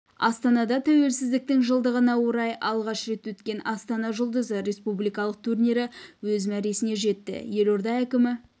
астанада тәуелсіздіктің жылдығына орай алғаш рет өткен астана жұлдызы республикалық турнирі өз мәресіне жетті елорда әкімі